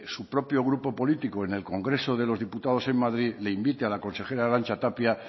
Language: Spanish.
su propio grupo político en el congreso de los diputados en madrid le invite a la consejera arantxa tapia